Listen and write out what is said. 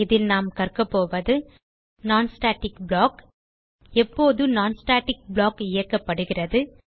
இதில் நாம் கற்கப்போவது non ஸ்டாட்டிக் ப்ளாக் எப்போது non ஸ்டாட்டிக் ப்ளாக் இயக்கப்படுகிறது